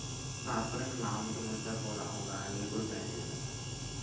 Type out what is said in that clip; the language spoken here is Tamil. அப்புறம் என்ன நான் மட்டும் குடுத்தா போதும் அவங்க நீ குடுக்க வேண்டியதில்ல